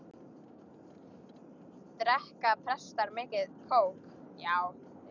Drekka prestar mikið kók?